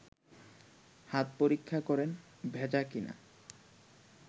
হাত পরীক্ষা করেন ভেজা কি না